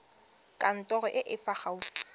kantorong e e fa gaufi